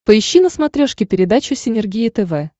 поищи на смотрешке передачу синергия тв